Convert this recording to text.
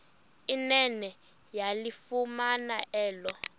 nene yalifumana elo